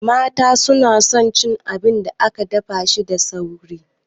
Mata su na son cin abin da ake dafa shi da sauri